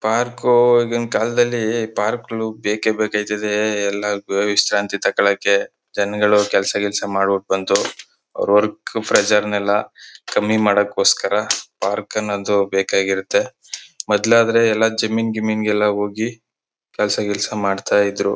Park ಈಗಿನಕಾಲದಲ್ಲಿ park ಗುಳು ಬೇಕೇ ಬೇಕು ಆಯ್ತದೆ ಎಲ್ಲ ವಿಶ್ರಾಂತಿ ತಗೋಳೋಕೆ ಜನಗಳು ಕೆಲಸ ಗಿಲ್ಸ ಮಾಡ್ಬಿಟ್ಟು ಬಂದು ಅವರ ವರ್ಕ್ ಪ್ರೆಷರ್ ನಾಯೆಲ್ಲ ಕಮ್ಮಿ ಮಾಡೋಕ್ ಗೋಸ್ಕರ ಪಾರ್ಕ್ ಅನ್ನದು ಬೇಕಾಗಿರುತ್ತೆ ಮೊದಲು ಆದ್ರೆ ಎಲ್ಲ ಜಿಮ್ ಇಂಗ್ ಗೀಮಿಂಗ್ ಹೋಗಿ ಕೆಲಸ ಗಿಲ್ಸ ಮಾಡ್ತಾಯಿದ್ರು.